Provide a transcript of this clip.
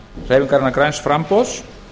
hreyfingarinnar græns framboðs